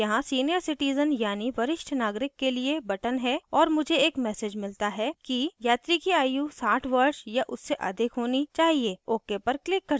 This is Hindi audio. यहाँ senior citizen यानि वरिष्ठ नागरिक के लिए button है और मुझे एक message मिलता है कि यात्री की आयु 60 वर्ष या उससे अधिक होनी चाहिए ok पर क्लिक करती हूँ